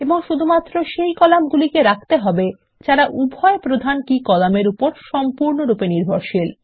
এবং শুধুমাত্র সেই কলামগুলিকে রাখতে হবে যারা উভয় প্রধান কী কলাম এর উপর সম্পূর্ণরূপে নির্ভরশীল